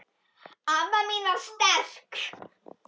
Amma mín var sterk.